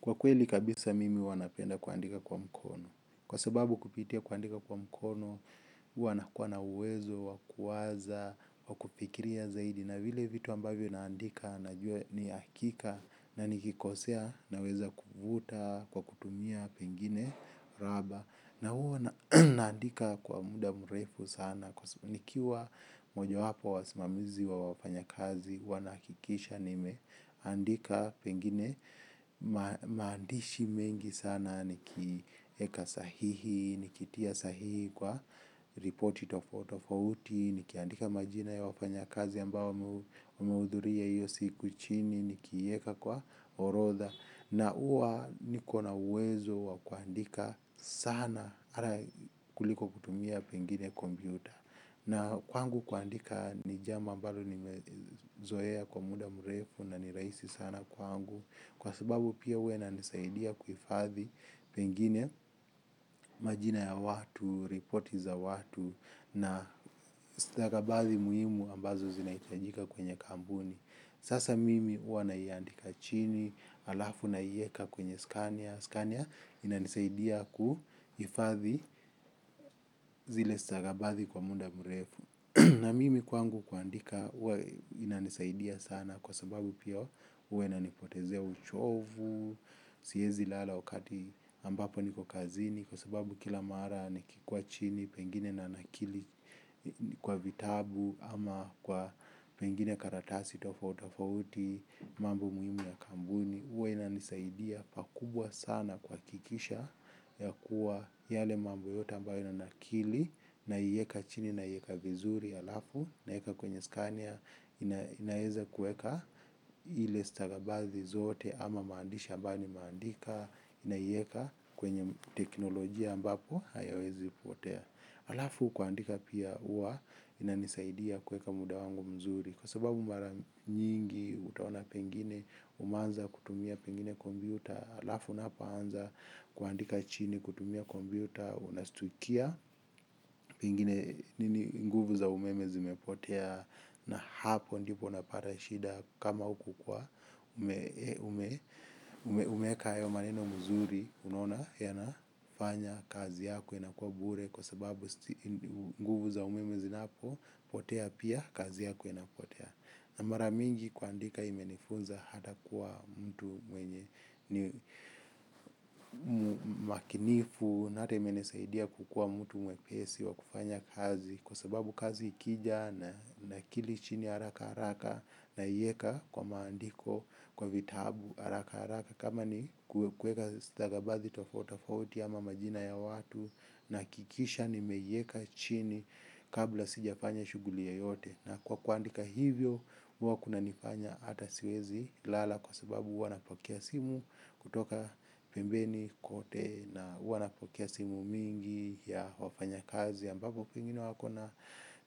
Kwa kweli kabisa mimi huwa napenda kuandika kwa mkono. Kwa sababu kupitia kuandika kwa mkono, huwa nakuwa na uwezo, wa kuwaza, wa kufikiria zaidi, na vile vitu ambavyo naandika, na jua ni hakika, na nikikosea, naweza kuvuta, kwa kutumia pengine, raba. Na huwa naandika kwa muda mrefu sana, kwa nikiwa mojawapo wa wasimamizi wa wafanyikazi, huwa nahakikisha nime andika pengine maandishi mengi sana nikieka sahihi, nikitia sahihi kwa ripoti tofauti tofauti nikiandika majina ya wafanya kazi ambao wamehudhuria hiyo siku chini nikieka kwa orodha na huwa niko na uwezo wa kuandika sana hata kuliko kutumia pengine kompyuta. Na kwangu kuandika ni jambo ambalo nimezoea kwa muda mrefu na ni rahisi sana kwangu. Kwa sababu pia huwa inanisaidia kuhifadhi pengine majina ya watu, reporti za watu na stakabadhi muhimu ambazo zinahitajika kwenye kampuni. Sasa mimi huwa naiandika chini, halafu nawieka kwenye skania, skania inanisaidia kuhifadhi zile stagabathi kwa muda mrefu. Na mimi kwangu kuandika, huwa inanisaidia sana kwa sababu pia huwa inanipotezea uchovu, siezi lala wakati ambapo niko kazini kwa sababu kila mara nikikuwa chini, pengine nanakili kwa vitabu ama kwa pengine karatasi tofauti tofauti, mambo muhimu ya kampuni, huwa inanisaidia pakubwa sana kwa kuhakikisha ya kuwa yale mambo yote ambayo nanakili naieka chini naieka vizuri halafu naeka kwenye skania inaeza kueka ile stakabadhi zote ama maandishi ambayo nimeandika naieka kwenye teknolojia ambapo hayawezi potea. Halafu kuandika pia huwa inanisaidia kuweka muda wangu mzuri. Kwa sababu mara nyingi utaona pengine umeanza kutumia pengine kompyuta halafu unapoanza kuandika chini kutumia kompyuta unastukia. Pengine nini nguvu za umeme zimepotea na hapo ndipo unapata shida kama huku kwa umeeka hayo maneno muzuri unona yanafanya kazi yako inakuwa bure kwa sababu nguvu za umeme zinapopotea pia kazi yako inapotea na mara mingi kuandika imenifunza hata kuwa mtu mwenye ni makinifu na hata imenisaidia kukuwa mtu mwepesi wa kufanya kazi kwa sababu kazi ikija nakili chini haraka haraka naiweka kwa maandiko kwa vitabu, haraka haraka kama ni kuweka stakabadhi tofauti tofauti ama majina ya watu nahakikisha nimeieka chini kabla sijafanya shuguli yoyote. Na kwa kuandika hivyo, mi huwa kunanifanya hata siwezi lala kwa sababu huwa napokea simu kutoka pembeni kote na huwa napokea simu mingi ya wafanya kazi ambapo pengine wako na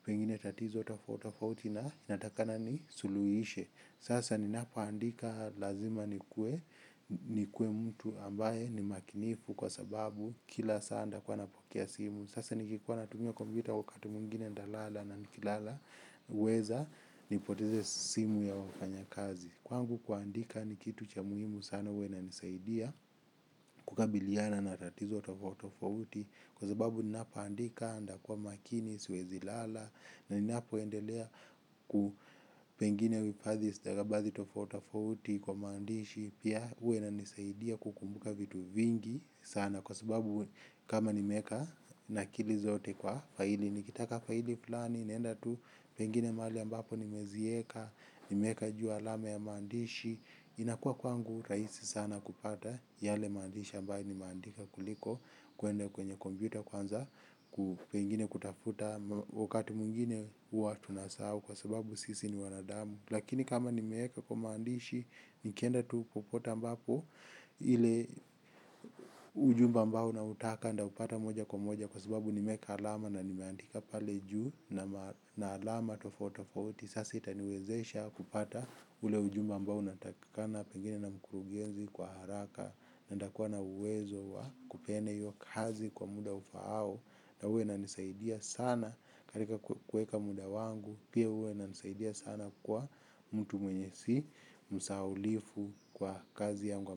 pengine tatizo tofauti tofauti na inatakikana nisuluhishe. Sasa ninapo andika lazima nikuwe nikuwe mtu ambaye ni makinifu kwa sababu kila saa ntakuwa napokea simu. Sasa nikikuwa natumia kompyuta wakati mwingine ntalala na nikilala huweza nipoteze simu ya wafanyikazi. Kwangu kuandika ni kitu cha muhimu sana huwa inanisaidia kukabiliana na tatizo tofauti tofauti kwa sababu ninapoandika ntakuwa makini, siwezi lala na ninapoendelea ku pengine huhifadhi stakabadhi tofauti tofauti kwa maandishi pia huwa inanisaidia kukumbuka vitu vingi sana. Kwa sababu kama nimeeka nakili zote kwa faili. Nikitaka faili fulani, naenda tu pengine mahali ambapo nimezieka. Nimeweka juu alama ya maandishi. Inakuwa kwangu rahisi sana kupata yale maandishi ambayo nimeandika kuliko kuenda kwenye kompyuta kuanza ku pengine kutafuta wakati mwingine huwa tunasahau kwa sababu sisi ni wanadamu lakini kama nimeeka kwa maandishi nikienda tu popote ambapo ile ujumbe ambao nautaka ntaupata moja kwa moja kwa sababu nimeeka alama na nimeandika pale juu na alama tofauti tofauti sasa itaniwezesha kupata ule ujumbe ambao unatakikana pengine na mkurugenzi kwa haraka na ntakuwa na uwezo wa kupeane hiyo kazi kwa muda ufaao na huwa inanisaidia sana katika kuweka muda wangu pia huwa inanisaidia sana kwa mtu mwenye si msahaulifu kwa kazi yangu.